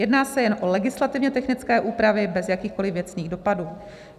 Jedná se jen o legislativně technické úpravy bez jakýchkoliv věcných dopadů.